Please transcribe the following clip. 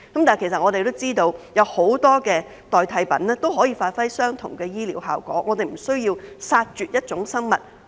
但是，我們都知悉，有很多代替品可以達致相同的醫療效果，我們不需要為此殺絕一種生物。